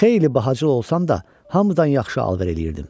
Xeyli bahacıl olsam da, hamıdan yaxşı alver eləyirdim.